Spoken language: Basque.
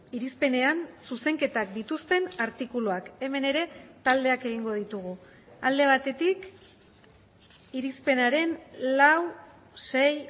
irizpenean zuzenketak dituzten artikuluak hemen ere taldeak egingo ditugu alde batetik irizpenaren lau sei